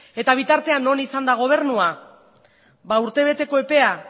eta bitartean non izan da gobernua urtebeteko epea